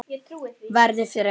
Verði frjáls.